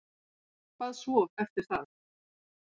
Hvað svo eftir það?